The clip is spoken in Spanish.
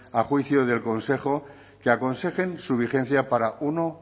a juicio del consejo que aconsejen su vigencia para uno